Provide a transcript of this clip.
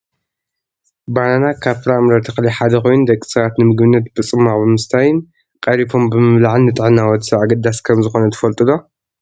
ባናና ካብ ፍራምረ ተክሊ ሓደ ኮይኑ ደቂ ሰባት ንምግብነት ብፁማቅ ብምስታይን ቀሪፎም ብምብላዕን ንጥዕና ወዲ ሰብ ኣገዳሲ ከምዝኮነ ትፈልጡ ዶ ?